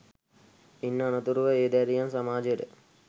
ඉන් අනතුරුව ඒ දැරියන් සමාජයට